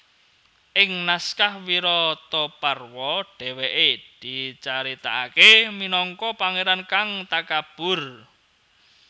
Ing naskah Wirataparwa dhéwékè dicaritakaké minangka pangéran kang takabur